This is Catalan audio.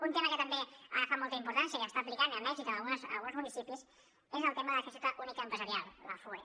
un tema que també ha agafat molta importància i que s’està aplicant amb èxit en alguns municipis és el tema de la finestreta única empresarial la fue